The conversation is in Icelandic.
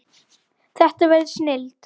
Þetta verður snilld